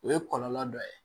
O ye kɔlɔlɔ dɔ ye